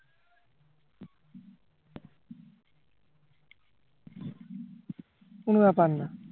কোনো ব্যাপার না